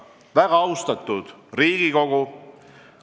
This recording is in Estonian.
Väga austatud Riigikogu!